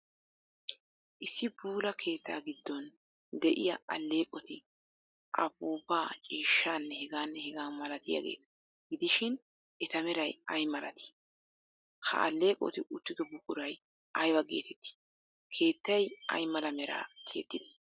Issi puula keettaa giddon de'iya alleeqoti apuupaa, ciishshaanne h.h.malatiygeeta gidishin eta meray ay malatii? Ha alleeqoti uttido buquray aybaa geeteettii? Keettay ay mala meraa tiyettidee?